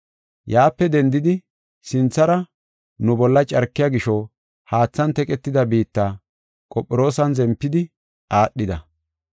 Yaape dendidi sinthara nu bolla carkiya gisho haathan teqetida biitta, Qophiroosan zempidi aadhida.